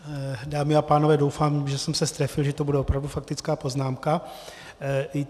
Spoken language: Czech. Dámy a pánové, doufám, že jsem se strefil, že to bude opravdu faktická poznámka.